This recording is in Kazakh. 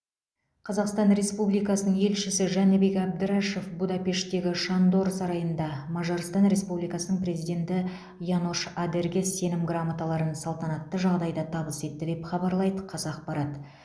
қазақстан республикасының елшісі жәнібек әбдрашов будапештегі шандор сарайында мажарстан республикасының президенті янош адерге сенім грамоталарын салтанатты жағдайда табыс етті деп хабарлайды қазақпарат